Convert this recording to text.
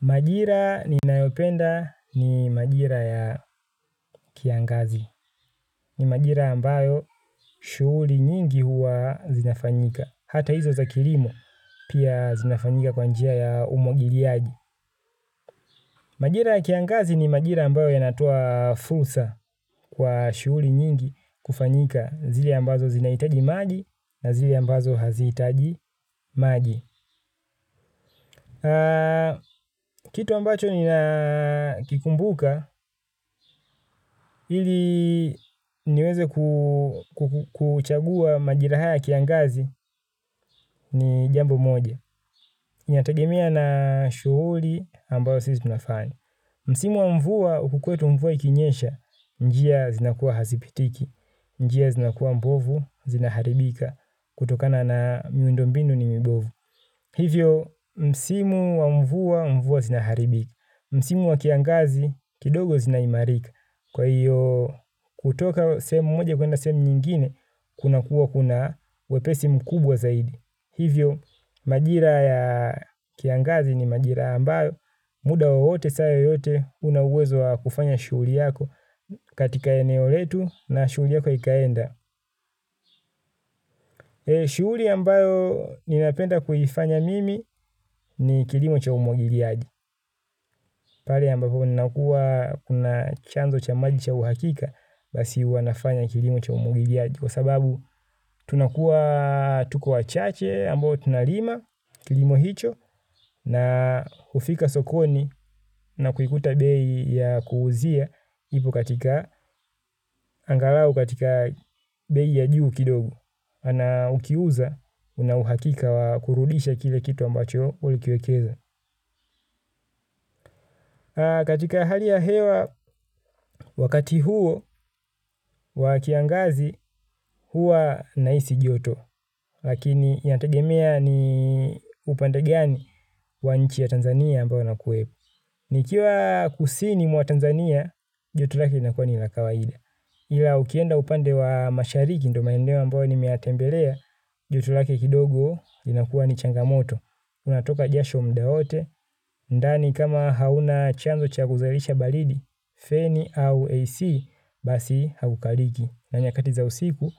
Majira ninayopenda ni majira ya kiangazi. Ni majira ambayo shughuli nyingi huwa zinafanyika. Hata hizo za kilimo, pia zinafanyika kwa njia ya umwagiliaji. Majira ya kiangazi ni majira ambayo yanatoa fursa kwa shughuli nyingi kufanyika. Zile ambazo zinahitaji maji na zile ambazo hazitaji maji. Kitu ambacho ninakikumbuka ili niweze kuchagua majira haya ya kiangazi ni jambo moja inatagemea na shughuli ambayo sisi tunafanya. Msimu wa mvua huku kwetu mvua ikinyesha njia zinakuwa hazipitiki. Njia zinakuwa mbovu zinaharibika kutokana na miundombinu ni mibovu. Hivyo, msimu wa mvua mvua zinaharibika. Msimu wa kiangazi kidogo zinaimarika kwa hiyo kutoka sehemu moja kwenda sehemu nyingine kuna kuwa kuna wepesi mkubwa zaidi. Hivyo majira ya kiangazi ni majira ambayo muda wowote saa yoyote una uwezo wa kufanya shughuli yako katika eneo letu na shughuli yako ikaenda. Shughuli ambayo ninapenda kuifanya mimi ni kilimo cha umwagiliaji. Pale ambapo nnakuwa na chanzo cha maji cha uhakika basi huwa nafanya kilimo cha umwagiliaji kwa sababu tunakuwa tuko wa chache ambao tunalima kilimo hicho na kufika sokoni na kuikuta bei ya kuuzia ipo katika angalau katika bei ya juu kidogo na ukiuza una uhakika wakurudisha kile kitu ambacho ulikiwekeza. Katika hali ya hewa wakati huo wakiangazi huwa nahisi joto lakini yategemea ni upande gani wa nchi ya Tanzania ambao na kuwepo. Nikiwa kusini mwa Tanzania joto lake linakuwa ni la kawaida. Ila ukienda upande wa mashariki ndo maeneo ambayo nimeyatembelea joto lake kidogo linakuwa ni changamoto. Unatoka jasho muda wote, ndani kama hauna chanzo cha kuzalisha baridi, feni au AC, basi hakukaliki. Na nyakati za usiku,